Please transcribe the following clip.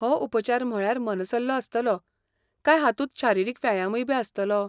हो उपचार म्हळ्यार मनसल्लो आसतलो, काय हातूंत शारिरीक व्यायामबी आसतलो?